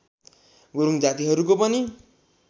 गुरूङ जातिहरूको पनि